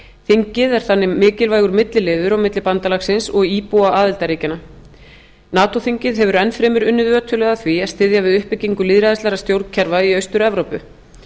þingið er þannig mikilvægur milliliður á milli bandalagsins og íbúa aðildarríkjanna nato þingið hefur enn fremur unnið ötullega að því að styðja við uppbyggingu lýðræðislegra stjórnkerfa í austur evrópu